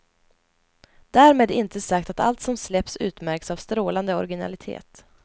Därmed inte sagt att allt som släpps utmärks av strålande originalitet.